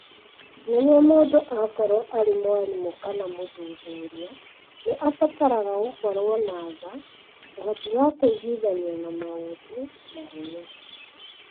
Nĩguo mũndũ akorũo arĩ mwarimũ kana mũthuthuria, nĩ abataraga gũkorũo na tha, ũhoti wa kũiguithania na maũndũ, na hinya.